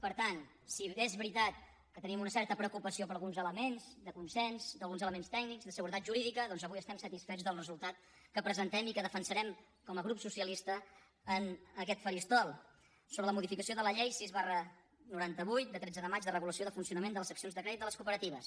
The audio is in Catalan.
per tant si bé és veritat que tenim una certa preocupació per alguns elements de consens per alguns elements tècnics de seguretat jurídica doncs avui estem satisfets del resultat que presentem i que defensarem com a grup socialista en aquest faristol sobre la modificació de la llei sis noranta vuit de tretze de maig de regulació de funcionament de les seccions de crèdit de les cooperatives